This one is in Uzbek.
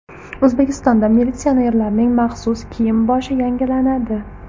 O‘zbekistonda militsionerlarning maxsus kiyim-boshi yangilanadi .